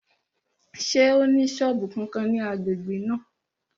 Ṣé ó ní sọ́ọ̀bù kankan ní agbègbè náà?